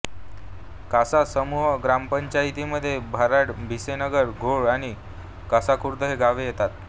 कासा समूह ग्रामपंचायतीमध्ये भारड भिसेनगर घोळ आणि कासाखुर्द ही गावे येतात